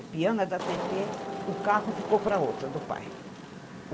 O piano é da Tetê, o carro ficou para outra, do pai.